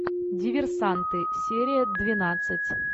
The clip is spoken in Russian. диверсанты серия двенадцать